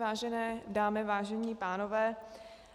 Vážené dámy, vážení pánové,